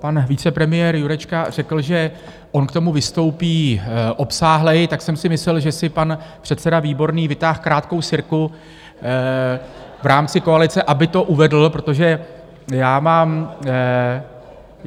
Pan vicepremiér Jurečka řekl, že on k tomu vystoupí obsáhleji, tak jsem si myslel, že si pan předseda Výborný vytáhl krátkou sirku v rámci koalice, aby to uvedl, protože já mám...